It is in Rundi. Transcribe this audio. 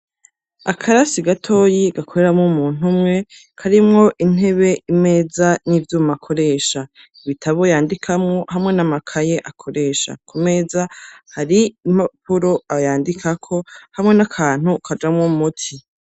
Akarasi gatoyi, gakoreramo muntu umwe, karimwo intebe, imeza n'ivyuma akoresha, ibitabo yandikamwo hamwe n'amakaye akoresha ku meza hari impapuro yandikako hamwe n'akantu kajamwo umuti.